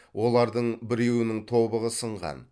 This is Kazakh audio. олардың біреуінің тобығы сынған